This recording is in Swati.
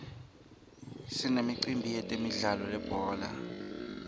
sinemicimbi yemidlalo yelibhola